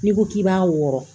N'i ko k'i b'a wɔrɔn